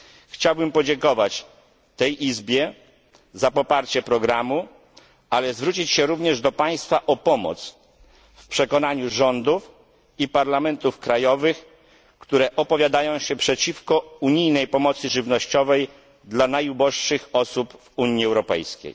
Chciałbym podziękować tej Izbie za poparcie programu, ale zwrócić się również do Państwa o pomoc w przekonaniu rządów i parlamentów krajowych, które opowiadają się przeciwko unijnej pomocy żywnościowej dla najuboższych osób w Unii Europejskiej.